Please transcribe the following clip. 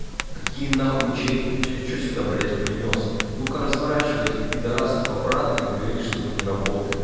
какие нахуй чеки ты что что сюда блядь принёс ну-ка разворачивай этих пидарасов обратно и говори что мы не работаем